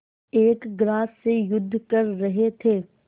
एक ग्रास से युद्ध कर रहे थे